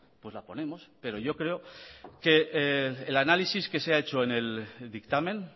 pues la ponemos pero yo creo que el análisis que se ha hecho en el dictamen